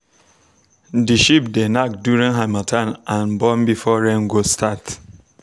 the sheep dey knack during harmattan and born before rain go start